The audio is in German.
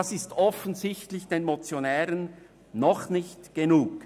Dies ist den Motionären offensichtlich noch nicht genug.